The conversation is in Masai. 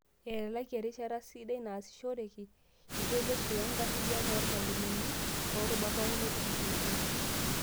Etalaki erishata sidai naasishoreki iltoiloshi wenkarriyano oormalimuni toorubat pookin e TPD.